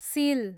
सिल